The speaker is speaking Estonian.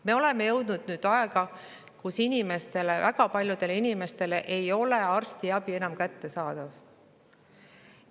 Me oleme nüüd jõudnud aega, kui väga paljudele inimestele ei ole arstiabi enam kättesaadav.